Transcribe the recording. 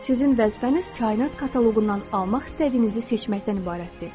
Sizin vəzifəniz kainat kataloqundan almaq istədiyinizi seçməkdən ibarətdir.